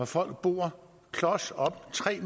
folk bor klos op ad tre